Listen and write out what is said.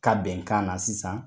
Ka bɛnkan na sisan